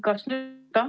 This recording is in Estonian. Kas nüüd on ...?